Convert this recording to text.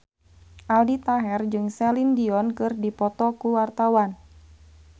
Aldi Taher jeung Celine Dion keur dipoto ku wartawan